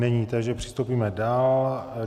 Není, takže postoupíme dál.